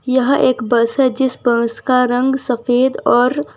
यह एक बस है जीस बस का रंग सफेद और --